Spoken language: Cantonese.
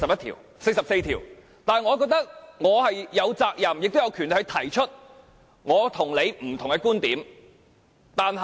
但是，我覺得我有責任，亦有權力提出我與你不同的觀點。